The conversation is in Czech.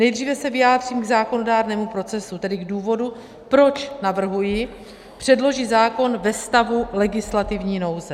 Nejdříve se vyjádřím k zákonodárnému procesu, tedy k důvodu, proč navrhuji předložit zákon ve stavu legislativní nouze.